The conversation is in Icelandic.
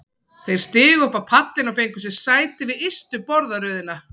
Þeir stigu upp á pallinn og fengu sér sæti við ystu borðaröðina.